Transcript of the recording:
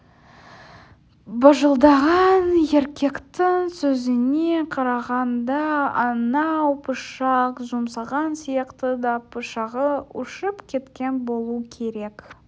бажылдаған еркектің сөзіне қарағанда анау пышақ жұмсаған сияқты да пышағы ұшып кеткен болу керек